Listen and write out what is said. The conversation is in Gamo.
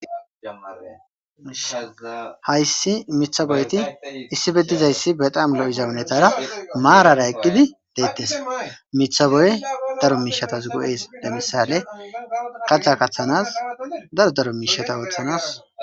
Hayssi miththa boyeti issippe dizayssi betam lo'iza hunetara maarar eqqidi detes miththa boyey daro miishatas go'es lemisale katha kathanas daro daro miishata oothanas.